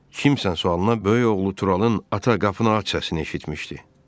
Kimsənin sualına böyük oğlu Turalın ata qapını aç səsini eşitmişdi.